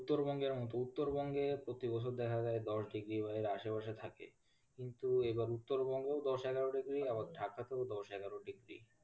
উত্তরবঙ্গের মতো উত্তরবঙ্গে প্রতি বছর দেখাযায় দশ ডিগ্রি হয়ে আশেপাশে থাকে কিন্তু এবার উত্তরবঙ্গও দশ, এগারো ডিগ্রি আবার ঢাকাতেও দশ, এগারো ডিগ্রি